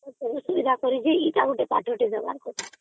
ସୁବିଧା କରିକି ସେଇଟା ଗୋଟେ ପାଠଟେ ଦେବାର କଥା